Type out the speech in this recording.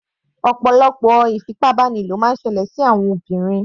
Ọ̀pọ̀lọpọ̀ ìfipábánilò máa ń ṣẹlẹ̀ sí àwọn obìnrin.